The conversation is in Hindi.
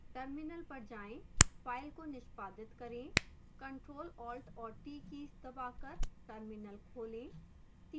terminal पर जाएं file को निष्पादित करें ctrl alt और t कीज दबाकर terminal खोलें